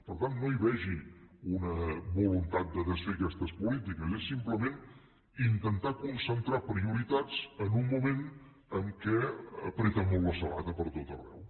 per tant no hi vegi una voluntat de desfer aquestes polítiques és simplement intentar concentrar prioritats en un moment en què apreta molt la sabata pertot arreu